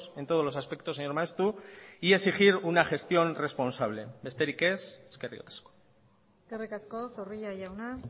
en todos los aspectos señor maeztu y exigir una gestión responsable besterik ez eskerrik asko eskerrik asko zorrilla jauna